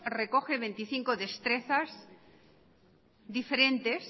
recoge veinticinco destrezas diferentes